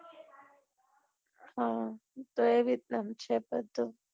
હા તો એ રીત નું છે બધું